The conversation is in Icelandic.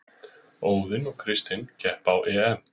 Óðinn og Kristinn keppa á EM